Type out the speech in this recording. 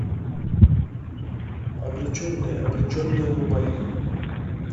обрученные обреченные врубай